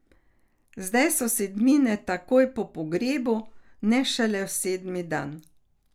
Zdaj so sedmine takoj po pogrebu, ne šele sedmi dan.